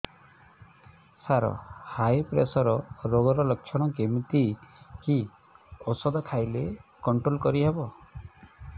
ସାର high pressure ରୋଗର ଲଖଣ କେମିତି କି ଓଷଧ ଖାଇଲେ କଂଟ୍ରୋଲ କରିହେବ